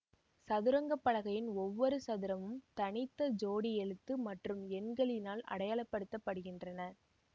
சதுரங்கப்பலகையின் ஒவ்வொரு சதுரமும் தனித்த ஜோடி எழுத்து மற்றும் எண்களினால் அடையாளப்படுத்தப்படுகின்றன